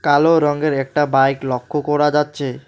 কালো রঙের একটা বাইক লক্ষ্য করা যাচ্ছে।